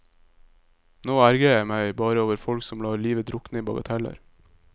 Nå ergrer jeg meg bare over folk som lar livet drukne i bagateller.